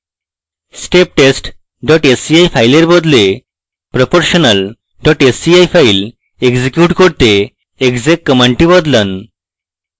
steptest sci file বদলে proportional sci file execute করতে exec command বদলান